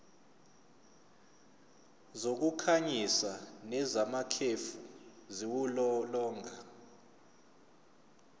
zokukhanyisa nezamakhefu ziwulolonga